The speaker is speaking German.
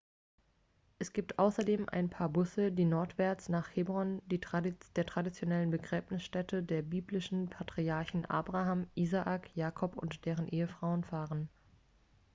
es gibt außerdem ein paar busse die nordwärts nach hebron der traditionellen begräbnisstätte der biblischen patriarchen abraham isaak jakob und deren ehefrauen fahren